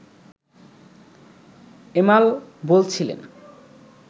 এমাল বলছিলেন